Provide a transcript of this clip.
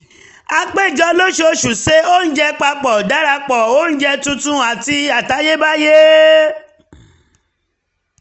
a péjọ lóṣooṣù se oúnjẹ papọ̀ darapọ̀ oúnjẹ tuntun àti àtayébáyé